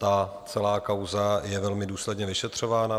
Ta celá kauza je velmi důsledně vyšetřována.